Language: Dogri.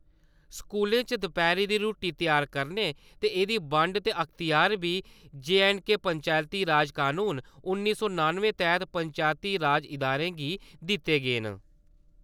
स्कूलें च दपैह्‌री दी रूट्टी त्यार करने ते एह्दी बंड दे अख्तियार बी J and K Panchayati Raj कनून उन्नी सौ नानुए तैह्त पंचैती राज इदारें गी दित्ते गे न ।